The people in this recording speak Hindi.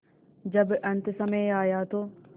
जब अन्तसमय आया तो